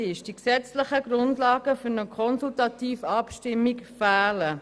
Die gesetzlichen Grundlagen für eine Konsultativabstimmung fehlen.